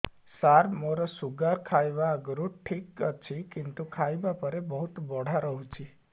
ସାର ମୋର ଶୁଗାର ଖାଇବା ଆଗରୁ ଠିକ ଅଛି କିନ୍ତୁ ଖାଇବା ପରେ ବହୁତ ବଢ଼ା ରହୁଛି